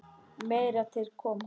Meira til koma.